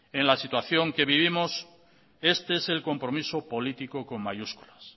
en la situación que vivimos este es el compromiso político con mayúsculas